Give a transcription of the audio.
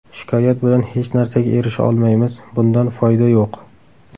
Shikoyat bilan hech narsaga erisha olmaymiz, bundan foyda yo‘q.